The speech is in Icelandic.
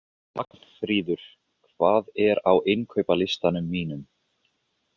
Vagnfríður, hvað er á innkaupalistanum mínum?